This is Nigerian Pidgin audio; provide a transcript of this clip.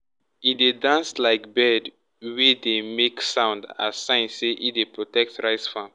e dey dance like bird wey dey make sound as sign say e dey protect rice farm.